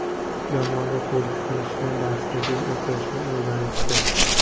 Jamoaga qo‘shilishni, darsda jim o‘tirishni o‘rganishdi.